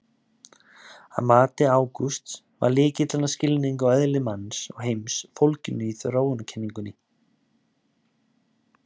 Að mati Ágústs var lykilinn að skilningi á eðli manns og heims fólginn í þróunarkenningunni.